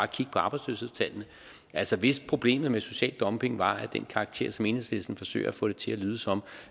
kigge på arbejdsløshedstallene altså hvis problemet med social dumping var af den karakter som enhedslisten forsøger at få det til at lyde som